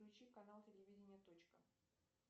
включи канал телевидения точка